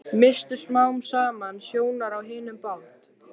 Misstu smám saman sjónar á hinum bát